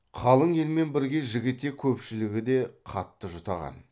қалың елмен бірге жігітек көпшілігі де қатты жұтаған